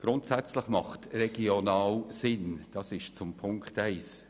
Grundsätzlich macht «regional» Sinn – dies bezieht sich auf Ziffer 1.